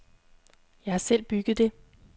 Jeg har selv bygget det.